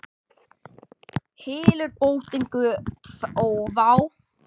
Hylur bótin göt ófá.